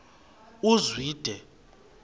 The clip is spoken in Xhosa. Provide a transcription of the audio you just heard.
uzwide